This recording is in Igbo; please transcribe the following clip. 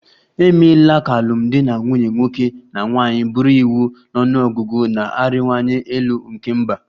E meela ka alụmdi na nwunye nwoke na nwanyị bụrụ iwu na ọnụ ọgụgụ na-arịwanye elu nke mba